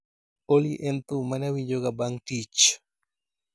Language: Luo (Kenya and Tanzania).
olly en thum mane awinjoga bang' tich